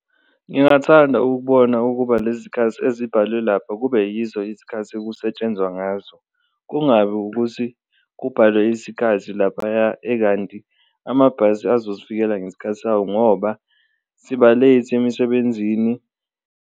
Ngingathanda ukubona ukuba nezikhathi ezibhalwe lapha kube yizo izikhathi okusetshenzwa ngazo, kungabi ukuthi kubhalwe isikhathi laphaya ekanti amabhasi azozifikela ngesikhathi sawo ngoba siba-late emisebenzini.